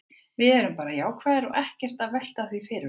Við erum bara jákvæðir og erum ekkert að velta því fyrir okkur.